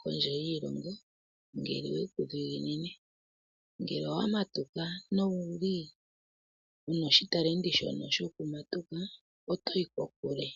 kondje yiilongo ngele owe ku dhiginine. Ngele owa matuka wu na oshitalenti shono shokumatuka, oto yi kokule.